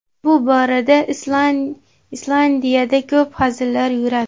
Bu borada Islandiyada ko‘p hazillar yuradi.